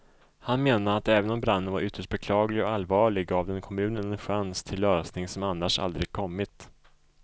Han menade att även om branden var ytterst beklaglig och allvarlig gav den kommunen en chans till lösning som annars aldrig kommit.